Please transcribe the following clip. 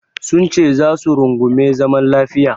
Sunce za su rungumi zaman lafiya.